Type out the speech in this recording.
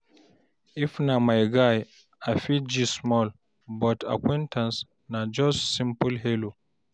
If na my guy, I fit gist small, but acquaintance na just simple hello.